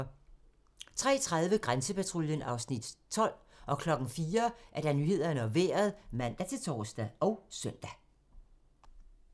03:30: Grænsepatruljen (Afs. 12) 04:00: Nyhederne og Vejret (man-tor og søn)